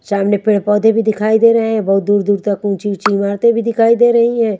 सामने पेड़ पौधे भी दिखाई दे रहे हैं बहुत दूर दूर तक ऊँची ऊँची इमारतें भी दिखाई दे रही हैं।